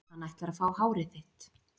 Hann ætlar að fá hárið þitt.